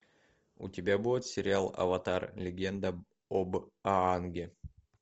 у тебя будет сериал аватар легенда об аанге